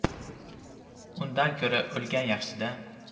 Undan ko‘ra o‘lgan yaxshi-da.